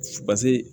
Paseke